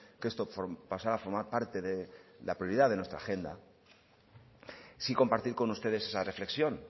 que esto pasara a formar parte de la prioridad de nuestra agenda sí compartir con ustedes esa reflexión